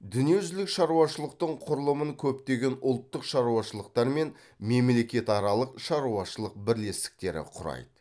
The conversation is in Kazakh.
дүниежүзілік шаруашылықтың құрылымын көптеген ұлттық шаруашылықтар мен мемлекетаралық шаруашылық бірлестіктері құрайды